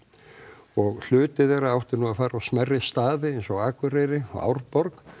og hluti þeirra átti nú að fara á smærri staði eins og Akureyri og Árborg